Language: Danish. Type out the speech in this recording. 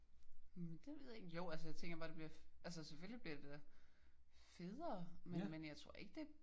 Mh det ved jeg ikke. Jo altså jeg tænker bare det bliver altså da selvfølgelig bliver det da federe men men jeg tror ikke det